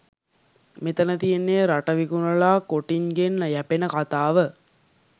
මෙතන තියන්නෙ රට විකුනලා කොටින්ගෙන් යැපෙන කතාව.